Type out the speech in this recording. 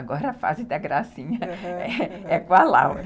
Agora a fase da gracinha, aham, é com a Laura.